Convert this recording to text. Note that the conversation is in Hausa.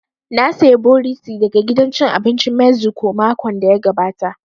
Na saya borito daga gidan cin abincin meziko makon da ya gabata